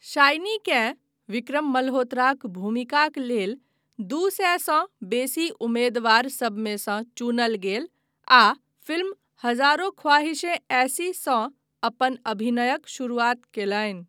शाइनीकेँ विक्रम मल्होत्राक भूमिकाक लेल दू सएसँ बेसी उमेदवार सभमेसँ चुनल गेल आ फिल्म 'हजारों ख्वाहिशें ऐसी'सँ अपन अभिनयक शुरुआत कयलनि।